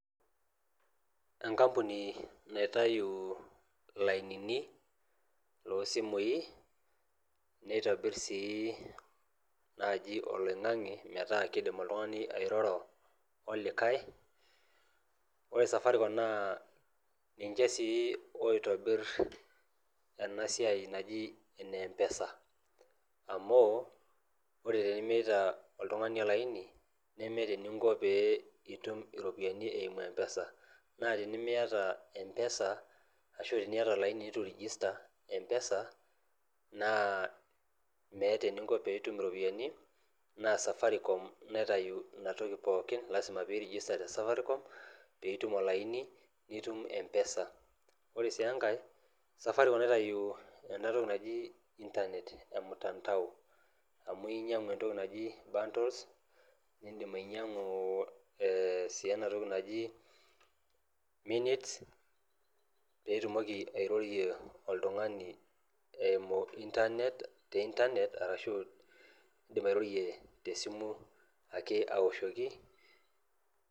Enkampuni naitayu ilainini losimui neitobirr sii naaji oloing'ang'e metaa kidim oltung'ani airoro olikae ore safaricom naa ninche sii oitobirr ena siai naji ene mpesa amu ore tenimiata oltung'ani olaini nemeeta eninko pee itum iropiyiani eimu mpesa naa tenimiyata mpesa ashu tiniyata olaini netu irijista mpesa naa meeta eninko peitum iropiyiani naa safaricom naitayu inatoki pookin lasima pirijista te Safaricom piitum olaini nitum mpesa ore sii enkae safaricom naitayu enatoki naji internet e mutandao amu inyiang'u entoki naji bundles nindim ainyiang'u sii enatoki naji minutes peitumoki airorie oltung'ani eimu internet te internet arashu indim airorie tesimu ake awoshoki.